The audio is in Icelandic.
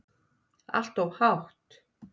Allt of hátt.